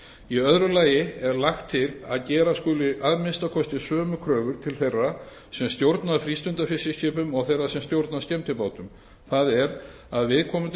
í öðru lagi er lagt til að gera skuli að minnsta kosti sömu kröfur til þeirra sem stjórna frístundafiskiskipum og þeirra sem stjórna skemmtibátum það er að viðkomandi